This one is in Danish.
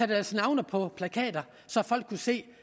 deres navne på plakater så folk kunne se